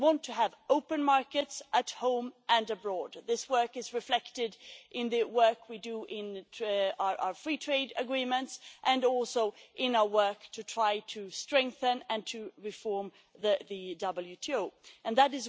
We want to have open markets at home and abroad. This work is reflected in the work we do in our free trade agreements and also in our work to try to strengthen and to reform the World Trade Organization That